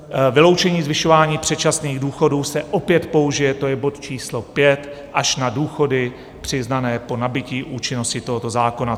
Vyloučení zvyšování předčasných důchodů se opět použije - to je bod číslo 5 - až na důchody přiznané po nabytí účinnosti tohoto zákona.